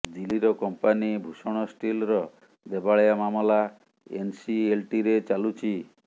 ଦିଲ୍ଲୀର କଂପାନି ଭୂଷଣ ଷ୍ଟିଲ୍ର ଦେବାଳିଆ ମାମଲା ଏନ୍ସିଏଲ୍ଟିରେ ଚାଲୁଛି